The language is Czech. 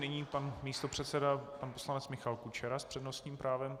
Nyní pan místopředseda pan poslanec Michal Kučera s přednostním právem.